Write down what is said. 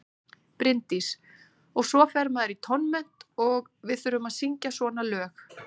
Bryndís: Og svo fer maður í tónmennt og við þurfum að syngja svona lög.